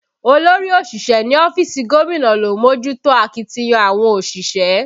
Olórí òṣìṣẹ́ ní ọ́fíìsì gómìnà ló ń mójútó akitiyan àwọn òṣìṣẹ́